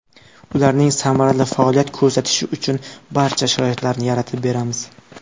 Ularning samarali faoliyat ko‘rsatishi uchun barcha sharoitlarni yaratib beramiz.